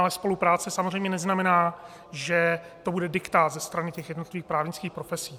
Ale spolupráce samozřejmě neznamená, že to bude diktát ze strany těch jednotlivých právnických profesí.